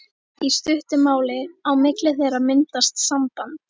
Í stuttu máli: á milli þeirra myndast samband.